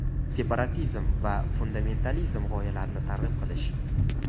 separatizm va fundamentalizm g‘oyalarini targ‘ib qilish;.